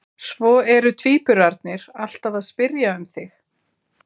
Svo eru tvíburarnir alltaf að spyrja um þig